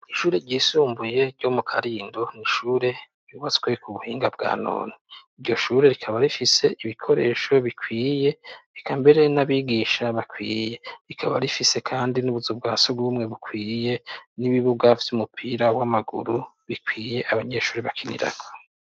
Ishure ryisumbuye ryo mu Karindo ni ishure ryubatswe ku buhinga bwa none. Iryo shure rikaba rifise ibikoresho bikwiye, eka mbere n'abigisha bakwiye. Rikaba rifise kandi n'ubuzu bwa surwumwe bukwiye n'ibibuga vy'umupira w'amaguru bikwiye abanyeshuri bakinirako.